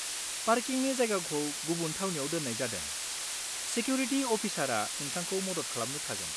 पार्किंनि जायगाखौ गुबुन थावनियाव दोन्नाय जादों, सेक्युरिटि अफिसार नोंथांखौ मदद खालामनो थागोन।